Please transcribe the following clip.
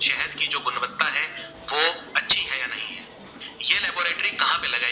कहा पे लगाई